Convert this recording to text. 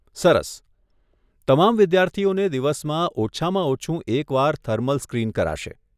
સરસ. તમામ વિદ્યાર્થીઓને દિવસમાં ઓછામાં ઓછું એક વાર થર્મલ સ્ક્રીન કરાશે.